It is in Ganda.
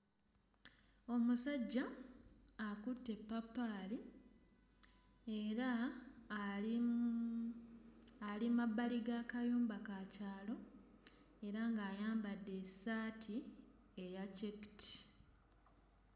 Omusajja akutte eppaapaali era ali... ali mabbali g'akayumba ka kyalo era ng'ayambadde essaati eya cekiti.